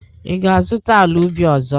Ị ga-azụta ala ubi ọzọ?